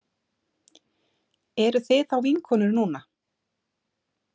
Eruð þið þá vinkonur núna?